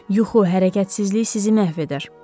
yuxu, hərəkətsizlik sizi məhv edər.